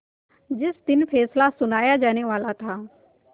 जिस दिन फैसला सुनाया जानेवाला था